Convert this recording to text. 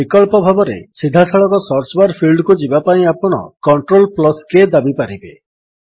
ବିକଳ୍ପ ଭାବରେ ସିଧା ସଳଖ ସର୍ଚ୍ଚ ବାର୍ ଫିଲ୍ଡକୁ ଯିବାପାଇଁ ଆପଣ CTRLK ଦାବିପାରିବେ